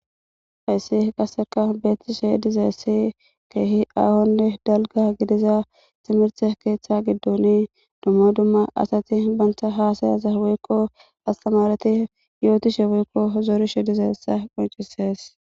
Hayssi qasse beettishe dizayssi keehi aahonne dalgga gidiza timirte keeththa giddon dumma dumma asati banta haasa'ata woykko astaamareti yootishe woykko zorishe dizayssa qonccises.